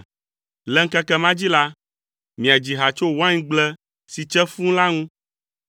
Le ŋkeke ma dzi la, “Miadzi ha tso waingble si tse fũu la ŋu.